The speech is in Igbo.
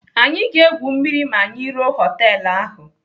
Anyị ga-egwu mmiri ma anyị ruo họtelu ahụ.